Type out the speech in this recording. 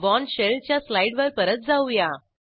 born shell च्या स्लाईडवर परत जाऊया